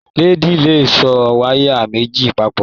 Leedi lè so wayà méjì papọ.